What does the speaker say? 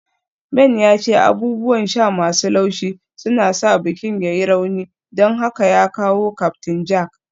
Ben ya ce abubuwan sha masu laushi suna sa bikin ya yi rauni, don haka ya kawo Captain Jack